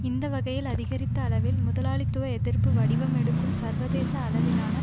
இந்த வகையில் அதிகரித்த அளவில் முதலாளித்துவ எதிர்ப்பு வடிவம் எடுக்கும் சர்வதேச அளவிலான